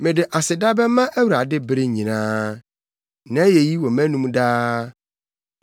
Mede aseda bɛma Awurade bere nyinaa; nʼayeyi wɔ mʼanom daa.